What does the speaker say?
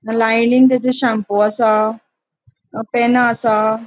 लाइनन तेचो शैम्पू असा पेना असा.